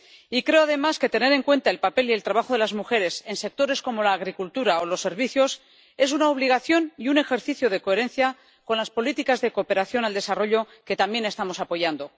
Y creo, además, que tener en cuenta el papel del trabajo de las mujeres en sectores como la agricultura o los servicios es una obligación y un ejercicio de coherencia con las políticas de cooperación al desarrollo que también estamos apoyando.